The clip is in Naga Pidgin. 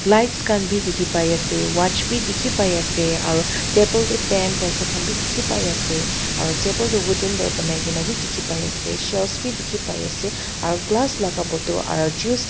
lights khan bhi dikhi pai ase watch bhi dikhi pai ase aru table teh pen pencil khan bhi dikhi pai ase aru table tu wooden para banai ke na bhi dikhi pai ase shelves bhi dikhi pai ase aru glass laga bottle aru juice laga--